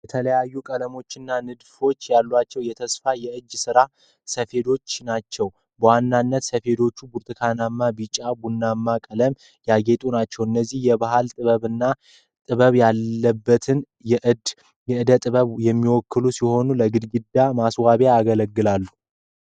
የተለያዩ ቀለሞችና ንድፎች ያሏቸው የተሰፉ የእጅ ስራ ሰፌዶች ናቸው። በዋናነት ሰፌዶቹ በብርቱካናማ፣ ቢጫና ቡናማ ቀለማት ያጌጡ ናቸው። እነዚህ የባህል ጥበብንና ጥበብ ያለበትን የእደ ጥበብ የሚወክሉ ሲሆን ለግድግዳ ማስዋቢያነት ያገለግላሉ።